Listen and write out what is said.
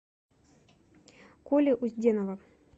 коли узденова